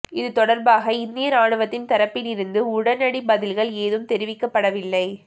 இது தொடர்பாக இந்திய ராணுவத்தின் தரப்பில் இருந்து உடனடி பதில்கள் எதுவும் தெரிவிக்கப்படவில்லை